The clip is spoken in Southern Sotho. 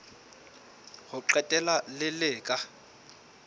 ho qetela le le ka